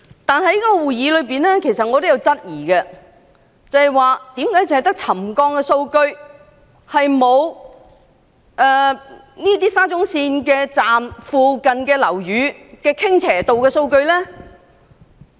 但在該次會議上，其實我也質疑為何只有沉降數據而沒有沙中線車站附近樓宇的傾斜度數據。